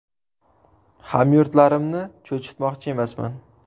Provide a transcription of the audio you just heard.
Hamyurtlarimni cho‘chitmoqchi emasman.